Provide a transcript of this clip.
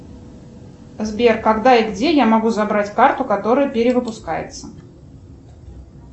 сбер когда и где я могу забрать карту которая перевыпускается